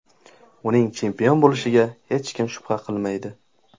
Uning chempion bo‘lishiga hech kim shubha qilmaydi.